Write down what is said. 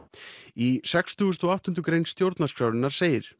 í sextíu og átta grein stjórnarskrárinnar segir